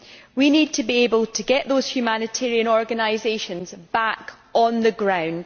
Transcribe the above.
We need to be able to get those humanitarian organisations back on the ground.